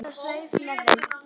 Hún snerist á sveif með þeim